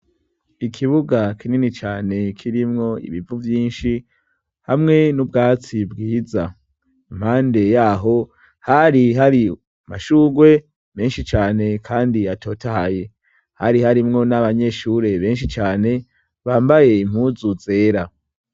Ikibuga kinini cane kirimwo ibivu vyinshi hamwe n'ubwatsi bwiza; impande yaho hari hari amashurwe menshi cane kandi atotaye. Hari harimwo n'abanyeshure benshi cane bambaye impuzu zera.